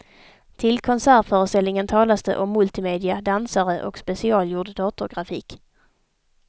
Till konsertföreställningen talas det om multimedia, dansare och specialgjord datorgrafik.